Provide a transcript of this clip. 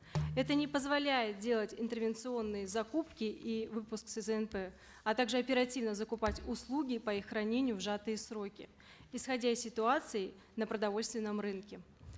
это не позволяет делать интервенционные закупки и выпуск сзнп а также оперативно закупать услуги по их хранению в сжатые сроки исходя из ситуации на продовольственном рынке